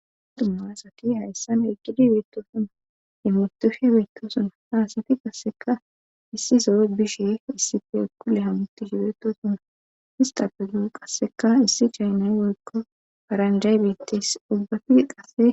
Dummaasati hayssan eggidi beettosuna ye mutushe beetto suna haasati qasseka issi sowe bishe issifi ekkulle hamutish beetto suna hista pegu qasseka issi chaynay woykko faranjay bitteys ubbafi qasse